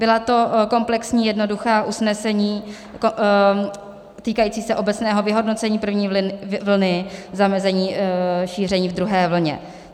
Byla to komplexní jednoduchá usnesení týkající se obecného vyhodnocení první vlny, zamezení šíření v druhé vlně.